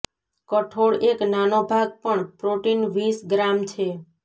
કઠોળ એક નાનો ભાગ પણ પ્રોટીન વીસ ગ્રામ છે